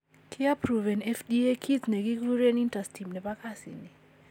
Kiapproven FDA kit ne giguren interstim Nepo kasini.